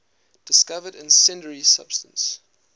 discovered incendiary substance